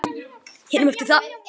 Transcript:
hinum eftir það.